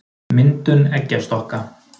myndun eggjastokka